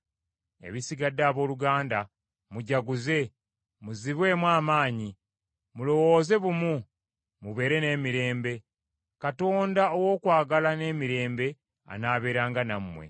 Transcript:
Ebisigadde abooluganda, mujaguze, muzibwemu amaanyi, mulowooze bumu, mubeere n’emirembe, Katonda ow’okwagala n’emirembe anaabeeranga nammwe.